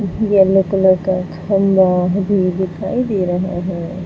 Yellow colour का भी दिखाई दे रहा है।